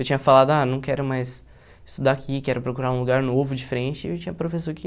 Eu tinha falado, ah, não quero mais estudar aqui, quero procurar um lugar novo, diferente, e tinha professor que...